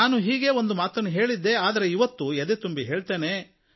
ನಾನು ಹೀಗೇ ಒಂದು ಮಾತು ಹೇಳಿದ್ದೆ ಆದರೆ ಇವತ್ತು ಎದೆತುಂಬಿ ಹೇಳ್ತೇನೆ